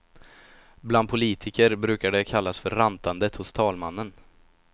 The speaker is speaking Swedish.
Bland politiker brukar det kallas för rantandet hos talmannen.